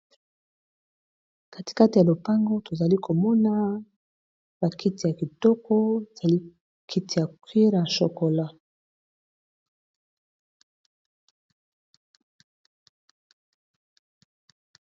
Katikati ya lupango tozali komona ba kiti ya kitoko za li kiti ya cuire ya shokola.